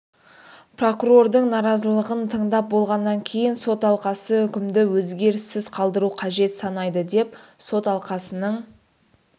прокурордың наразылығын тыңдап болғаннан кейін сот алқасы үкімді өзгеріссіз қалдыру қажет санайды деп сот алқасының